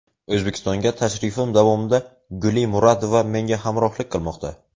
O‘zbekistonga tashrifim davomida Guli Muradova menga hamrohlik qilmoqda.